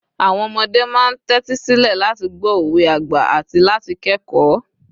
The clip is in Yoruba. àwọn ọmọdé ma n tẹtisilẹ láti gbọ òwe àgbà ati láti kẹkọọ